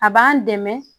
A b'an dɛmɛ